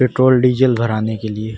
petrol diesel भराने के लिए --